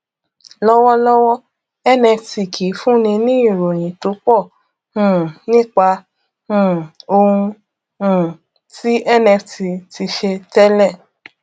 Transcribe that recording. lọwọlọwọ nft kìí fúnni ní ìròyìn tó pọ um nípa um ohun um tí nft ti ṣe tẹlẹ